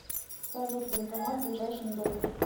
салют банкомат в ближайшем доме